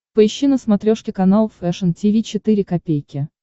поищи на смотрешке канал фэшн ти ви четыре ка